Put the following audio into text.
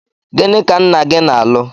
Gịnị ka nna-gi alụ?